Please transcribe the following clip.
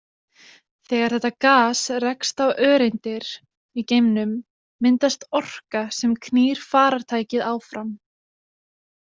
Þegar þetta gas rekst á öreindir í geimnum myndast orka sem knýr farartækið áfram.